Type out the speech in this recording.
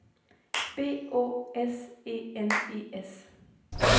B Å S E N E S